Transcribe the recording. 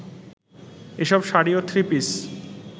এসব শাড়ি ও থ্রিপিস